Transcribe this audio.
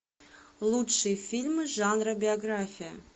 лучшие фильмы жанра биография